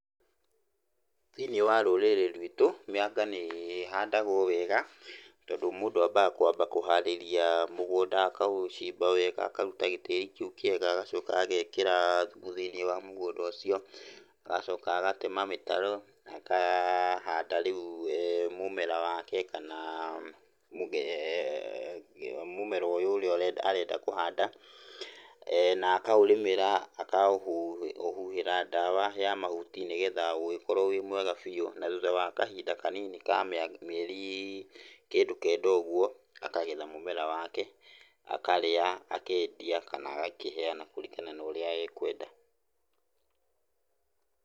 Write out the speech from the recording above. Thĩiniĩ wa rũrĩrĩ rwitũ, mĩanga nĩ ĩhandagwo wega, tondũ mũndũ ambaga kwamba kũharĩria mũgũnda, akaũcimba wega, akaruta gĩtĩri kĩu kĩega, agacoka agekĩra thumu thĩiniĩ wa mũgũnda ũcio, agacoka agatema mĩtaro na akahanda rĩu mũmera wake kana mũge, mũmera ũyũ ũrĩa ũre, arenda kũhanda, na akaũrĩmĩra, akaũhũ, ũhuhĩra ndawa ya mahuti nĩgetha ũgĩkorwo wĩ mwega biũ. Na thuutha wa kahinda kanini ka mĩa, mĩeri kĩndũ kenda ũgwo akagetha mũmera wake, akarĩa, akendia kana agakĩheana kũringana norĩa ekwenda.